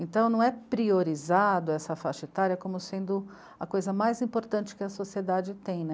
Então, não é priorizado essa faixa etária como sendo a coisa mais importante que a sociedade tem né.